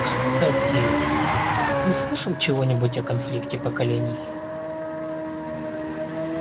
кстати ты слышал чего-нибудь о конфликте поколений